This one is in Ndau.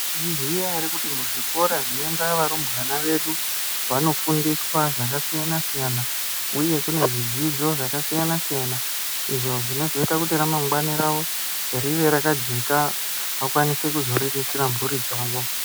Mwaizviziya ere kuti muzvikora zvinoenda varumbwana vedu vanofundiswa zvakasiyana-siyana, uye kune zvidzidzo zvakasiyana-siyana, izvo zvinozoita kuti ramangwani ravo rive rakajeka, vakwanise kuzoriritira mburi dzavo.